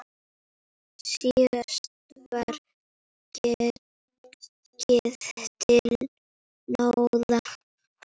Síðan var gengið til náða.